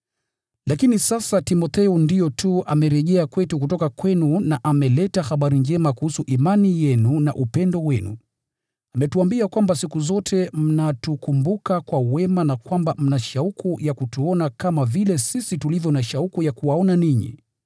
Lakini sasa Timotheo ndiyo tu amerejea kwetu kutoka kwenu na ameleta habari njema kuhusu imani yenu na upendo wenu. Ametuambia kwamba siku zote mnatukumbuka kwa wema na kwamba mna shauku ya kutuona kama vile sisi tulivyo na shauku ya kuwaona ninyi.